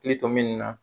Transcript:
Hakili to min na